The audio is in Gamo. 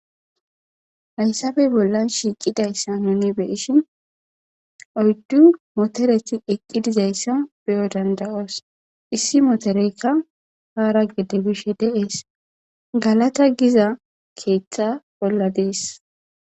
Hayssape bollan shiiqidaysa nuni be'ishin oyddu motoreti eqqi dizayssa be'o dandda'oos issi motoreykka haara gede bishe de'es galata giza keeththa bolla dees.